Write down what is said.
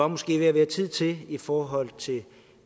måske er ved at være tid til i forhold til